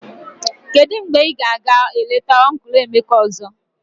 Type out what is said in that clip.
Kedu mgbe ị ga-aga eleta ọncụl Emeka ọzọ?